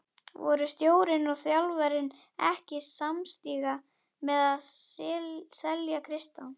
Voru stjórnin og þjálfarinn ekki samstíga með að selja Kristján?